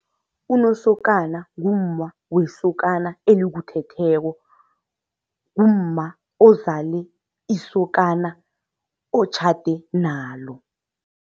Unosokana ngumma wesokana elikuthetheko, ngumma ozale isokana otjhade nalo.